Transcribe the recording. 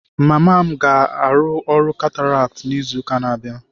Mama m ga-arụ ọrụ cataract n'izu na-abịa.